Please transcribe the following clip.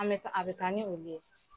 An bɛ a bɛ taa ni olu ye.